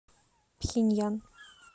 пхеньян